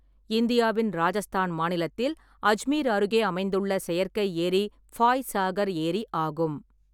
இந்தியாவின் ராஜஸ்தான் மாநிலத்தில் அஜ்மீர் அருகே அமைந்துள்ள செயற்கை ஏரி ஃபாய் சாகர் ஏரி ஆகும்.